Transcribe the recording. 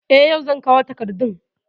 Eh, yau zan kawo takardun